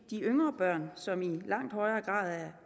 de yngre børn som måske i langt højere grad er